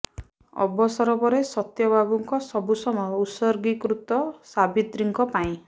ଅବସର ପରେ ସତ୍ୟ ବାବୁଙ୍କ ସବୁ ସମୟ ଉତ୍ସର୍ଗୀ କୃତ ସାବିତ୍ରୀଙ୍କ ପାଇଁ